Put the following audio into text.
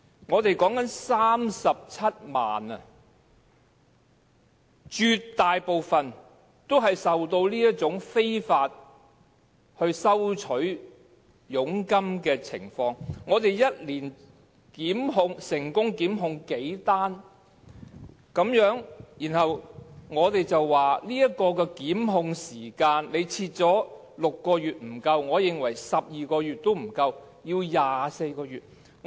我們說的是37萬名外傭，絕大部分也受到這種非法收取佣金的情況影響，但本港每年只有數宗成功檢控個案，然後我們說把檢控時限設定為6個月並不足夠，我認為12個月也不足夠，應該有24個月。